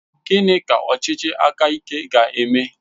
Gịnị ka ọchịchị aka ike ga-eme?